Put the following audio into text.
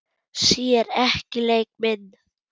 Sér ekki leik minn.